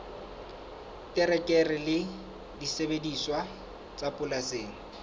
terekere le disebediswa tsa polasing